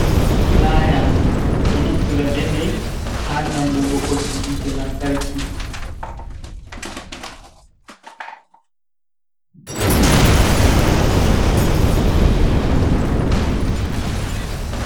Pulaya ɓe ɗo naftira be mai ha nangugo boggi hite lantarki.